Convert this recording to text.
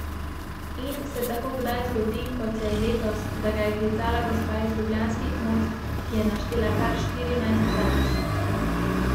Da sem prvi in da košarkarji vedo, kdo sedi tam.